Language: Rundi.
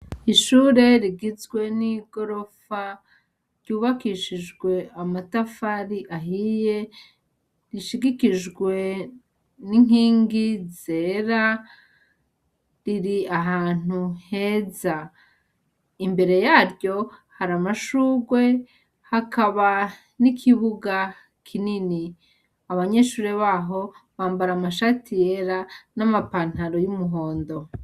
Ishure rigizwe n'igorofa ryubakishijwe amatafari ahiye rishigikijwe n'inkingi zera riri ahantu heza, imbere yaryo hari amashurwe hakaba n'ikibuga kinini, abanyeshure baho bambara amashati yera n'amapantaro y'umuhondo.